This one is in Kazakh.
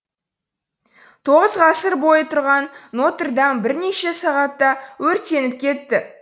тоғыз ғасыр бойы тұрған нотр дам бірнеше сағатта өртеніп кетті